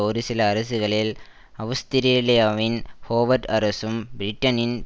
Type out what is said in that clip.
ஒரு சில அரசுகளில் அவுஸ்திரேலியாவின் ஹோவர்ட் அரசும் பிரிட்டனின்